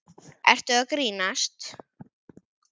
Ertu að grínast?